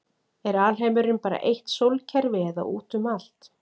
Er alheimurinn bara eitt sólkerfi eða út um allt?